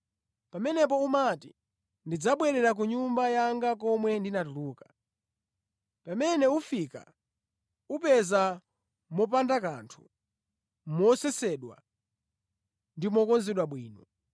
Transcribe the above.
Pamenepo umati, ‘Ndidzabwerera ku nyumba yanga komwe ndinatuluka.’ Pamene ufika, upeza mopanda kanthu, mosesedwa ndi mokonzedwa bwino.